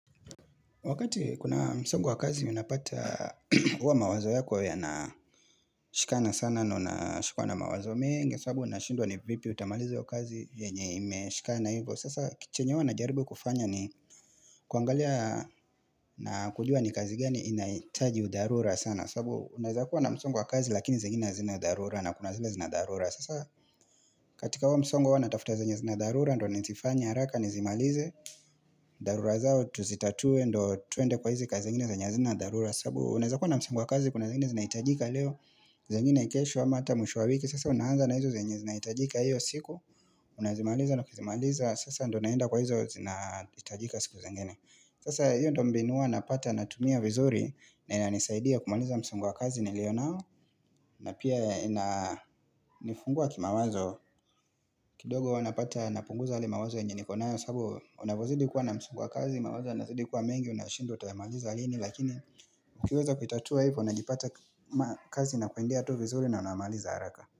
Wakati kuna msongo wa kazi unapata uwa mawazo yako ya na shikana sana ndo na shikwa na mawazo mengi sababu unashindwa ni vipi utamaliza hiyo kazi yenye imeshikana hivo sasa chenye huwa najaribu kufanya ni kuangalia na kujua ni kazi gani inaitaji dharura sana sababu unazakuwa na msongo wa kazi lakini zingine zina dharura na kuna zile zina dharura sasa katika huo msongo huwa natafuta zenye zina dharura ndo nizifanye haraka nizimalize dharura zao tuzitatuwe ndo twende kwa hizi kazi zingine zenye hazina dharura sababu unaeza kuwa na msimu wa kazi kuna zingine zinaitajika leo zingine kesho ama hata mwisho wa wiki Sasa unaanza na hizo zenye zinaitajika hiyo siku Unazimaliza na ukizimaliza Sasa ndo unaenda kwa hizo zinaitajika siku zengine Sasa hiyo ndo mbinu huwa napata natumia vizuri na ina nisaidia kumaliza msongo wa kazi nilio nao na pia ina nifungua kimawazo kidogo unapata napunguza yale mawazo yenye nikonayo sababu unavozidi kuwa na msongo kazi mawazo yanazidi kuwa mengi unashindwa utayamaliza lini lakini ukiweza kuitatuwa hivyo unajipata kazi na kwendea tu vizuri na unamaliza haraka.